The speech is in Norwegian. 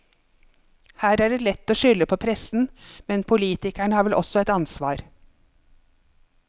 Her er det lett å skylde på pressen, men politikerne har vel også et ansvar?